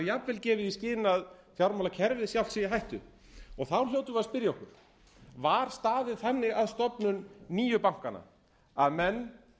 jafnvel gefið í skyn að fjármálakerfið sjálft sé í hættu þá hljótum við að spyrja okkur var staðið þannig að stofnun nýju bankanna að menn